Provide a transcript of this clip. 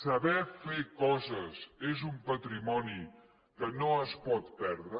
saber fer coses és un patrimoni que no es pot perdre